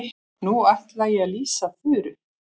Nú ætla ég að lýsa Þuru.